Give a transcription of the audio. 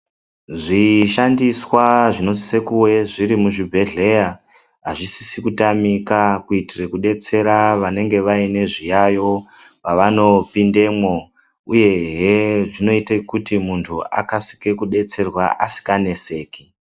Zvishandiswa zvinosise kuve zvirimuzvibhedhleya hazvisisi kutamika kuitire kubetsera vanenge vaine zviyayo pavanopindemwo, uyehe zvinoite kuti muntu akasike kubetserwa asikaneseki.